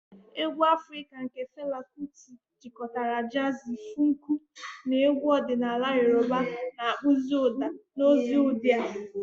Egwu Afrika nke Fela Kuti jikọtara jazi, funku na egwu ọdịnala Yoruba, na-akpụzi ụda na ozi ụdị a.